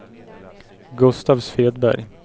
Gustav Svedberg